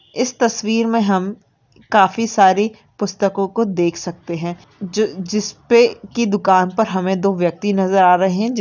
इस तस्वीर में हम काफी सारी पुस्तकों को देख सकते है जो-ज जिसपे की दुकान पर हमें दो व्यक्ति नजर आ रहे है जिन --